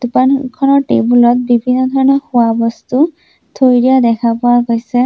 দোকানখনৰ টেবুল ত বিভিন্ন ধৰণৰ খোৱা বস্তু থৈ দিয়া দেখা পোৱা গৈছে।